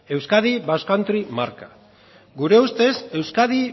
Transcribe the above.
euskadi basque country marka gure ustez euskadi